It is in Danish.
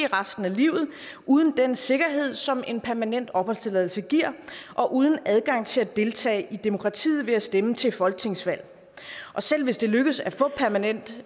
resten af livet uden den sikkerhed som en permanent opholdstilladelse giver og uden adgang til at deltage i demokratiet ved at stemme til folketingsvalg og selv hvis det lykkes at få permanent